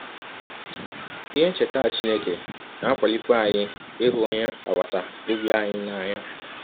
Ihe ncheta Chineke na - akwalikwa anyị ịhụ ọnye agbata ọbi anyị n’anya.